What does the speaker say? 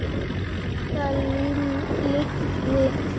Elsku Lúlli minn.